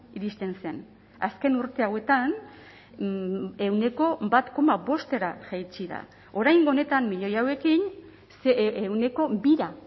iristen zen azken urte hauetan ehuneko bat koma bostera jaitsi da oraingo honetan milioi hauekin ehuneko bira